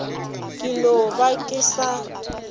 ke no ba ke sa